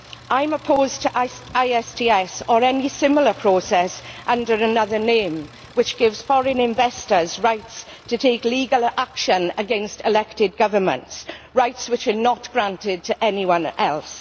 I am opposed to ISTS, or any similar process under another name, which gives foreign investors rights to take legal action against elected governments, rights which are not granted to anyone else.